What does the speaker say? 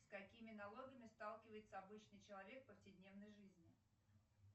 с какими налогами сталкивается обычный человек в повседневной жизни